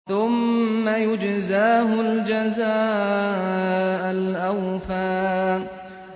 ثُمَّ يُجْزَاهُ الْجَزَاءَ الْأَوْفَىٰ